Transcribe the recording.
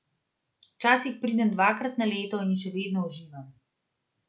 Včasih pridem dvakrat na leto in še vedno uživam.